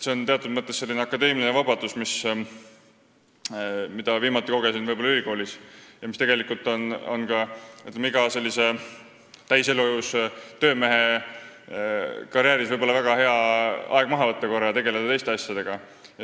See on teatud mõttes akadeemiline vabadus, mida viimati kogesin ülikoolis ja mis on tegelikult iga täiselujõus töömehe jaoks väga hea võimalus karjääri vältel korraks aeg maha võtta ja tegeleda teiste asjadega.